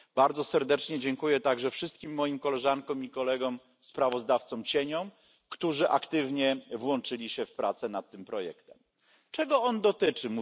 Bardzo serdecznie dziękuję także wszystkim koleżankom i kolegom sprawozdawcom cieniom, którzy aktywnie włączyli się w prace nad projektem. Czego on dotyczy?